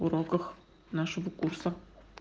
уроках нашего курса